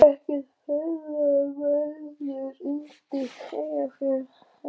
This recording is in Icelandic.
Ekkert ferðaveður undir Eyjafjöllum